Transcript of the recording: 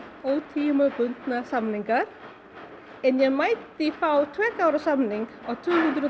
ótímabundna samninga en ég mætti fá tveggja ára samning á tvö hundruð